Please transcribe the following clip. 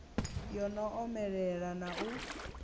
yo no omelela na u